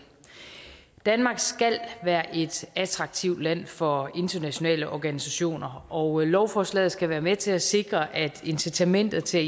danmark skal være et attraktivt land for internationale organisationer og lovforslaget skal være med til at sikre at incitamentet til